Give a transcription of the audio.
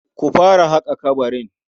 Ku fara haƙa ƙabarin.